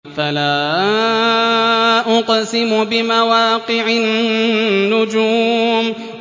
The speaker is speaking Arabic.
۞ فَلَا أُقْسِمُ بِمَوَاقِعِ النُّجُومِ